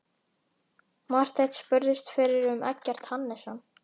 Marteinn spurðist fyrir um Eggert Hannesson.